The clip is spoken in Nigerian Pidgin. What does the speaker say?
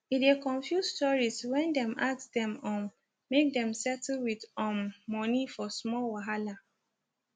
e dey confuse tourists when dem ask dem um make dem settle with um moni for small wahala